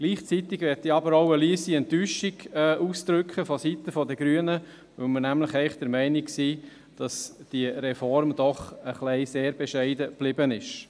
Gleichzeitig möchte ich aber vonseiten der Grünen auch eine leise Enttäuschung ausdrücken, weil wir nämlich eigentlich der Meinung sind, dass diese Reform doch ein bisschen sehr bescheiden geblieben ist.